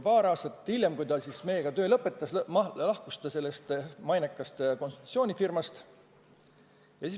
Paar aastat hiljem, kui ta meiega töö lõpetas, lahkus ta sellest mainekast konsultatsioonifirmast.